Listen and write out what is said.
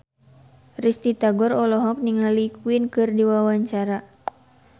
Risty Tagor olohok ningali Queen keur diwawancara